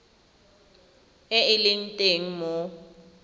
e e leng teng mo